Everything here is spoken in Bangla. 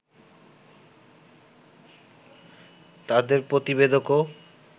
তাদের প্রতিবেদকও